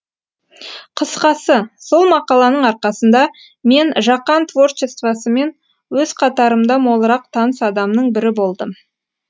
қысқасы сол мақаланың арқасында мен жақан творчествосымен өз қатарымда молырақ таныс адамның бірі болдым